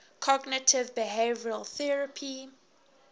cognitive behavioral therapy